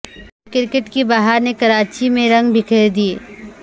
cricket کی بہار نے کراچی میں رنگ بکھیر دیے